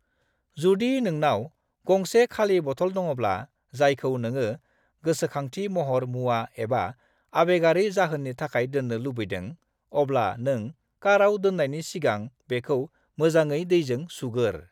जुदि नोंनाव गंसे खालि बथल दङब्ला जायखौ नोङो गोसोखांथि महर मुवा एबा आबेगारि जाहोननि थाखाय दोननो लुबैदों, अब्ला नों काराव दोननायनि सिगां बेखौ मोजाङै दैजों सुगोर।